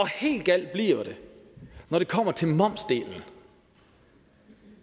helt galt bliver det når det kommer til momsdelen